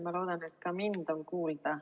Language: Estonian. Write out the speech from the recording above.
Ma loodan, et ka mind on kuulda.